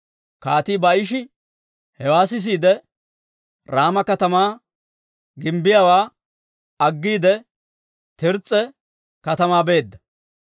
Kaatii Baa'ishi hewaa sisiide, Raama katamaa gimbbiyaawaa aggiide, Tirs's'a katamaa beedda.